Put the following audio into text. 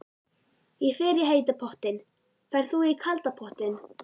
Ég fer í heita pottinn. Ferð þú í kalda pottinn?